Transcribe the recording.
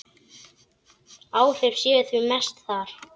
Áhrifin séu því mest þar.